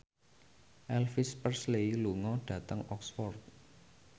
Elvis Presley lunga dhateng Oxford